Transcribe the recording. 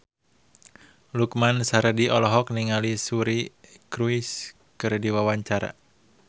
Lukman Sardi olohok ningali Suri Cruise keur diwawancara